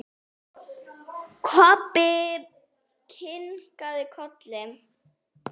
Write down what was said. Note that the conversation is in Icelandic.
Kobbi kinkaði kolli.